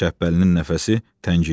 Şəhbəlinin nəfəsi təngiyirdi.